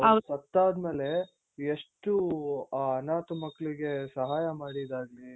ಅವ್ರು ಸತ್ತಾದ್ಮೇಲೆ ಎಷ್ಟು ಆ ಅನಾಥ ಮಕ್ಕಳಿಗೆ ಸಹಾಯ ಮಾಡಿದ್ದಾಗ್ಲಿ